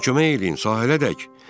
Mənə kömək eləyin, sahilə dək.